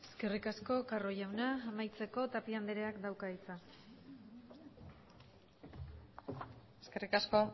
eskerrik asko carro jauna amaitzeko tapia andreak dauka hitza eskerrik asko